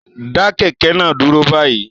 Dá kẹ̀kẹ́ náà dúró báyìí